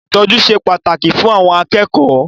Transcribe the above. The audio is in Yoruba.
Ìtọ́jú ṣe pàtàkì fún àwọn akẹ́kọ̀ọ́.